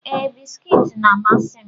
Ee, bisikiiti na-amasị m.